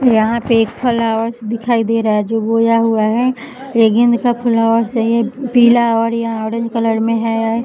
यहां पर ये फ्लावर्स दिखाई दे रहा है जो बोया हुआ है लेकिन इसका फ्लावर्स सही है पीला और यहां ऑरेंज कलर में है।